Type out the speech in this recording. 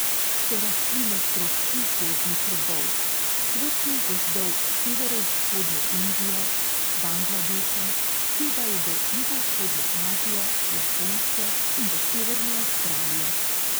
So rastline tropskih gozdnih robov, svetlih gozdov severovzhodne Indije, Bangladeša, segajo do jugovzhodne Azije, Japonske in do severne Avstralije.